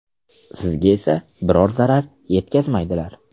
Sizga esa biror zarar yetkazmaydilar.